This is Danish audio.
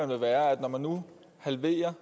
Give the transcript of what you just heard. vil være når man nu halverer